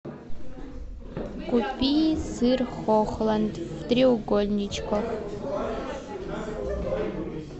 купи сыр хохланд в треугольничках